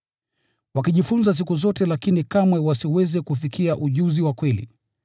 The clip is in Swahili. Wakijifunza siku zote lakini kamwe wasiweze kufikia ujuzi wa kweli.